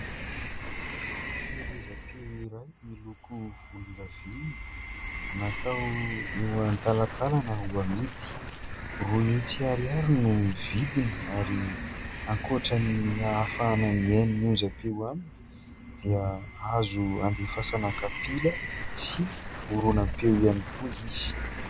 Fampielezam-peo iray miloko volondavenona natao eo an-talantalana ho amidy, roa hetsy ariary no vidiny ary ankoatrany ahafahana mihaino ny onjampeo aminy dia azo andefasana kapila sy horonam-peo ihany koa izy.